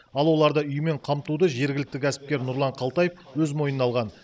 ал оларды үймен қамтуды жергілікті кәсіпкер нұрлан қалтаев өз мойнына алған